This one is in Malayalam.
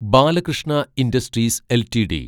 Balakrishna industries LTD